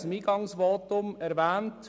ich habe es im Eingangsvotum erwähnt.